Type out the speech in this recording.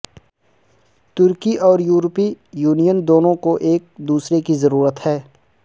ترکی اور یورپی یونین دونوں کو ایک دوسرے کی ضرورت ہے